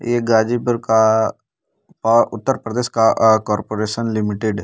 ये गाज़ीपुर का औ उत्तर-प्रदेश का अ कॉर्पोरेशन लिमिटेड --